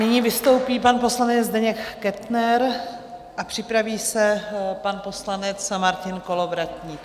Nyní vystoupí pan poslanec Zdeněk Kettner a připraví se pan poslanec Martin Kolovratník.